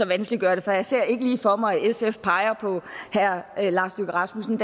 vanskeliggør det for jeg ser ikke lige for mig at sf peger på herre lars løkke rasmussen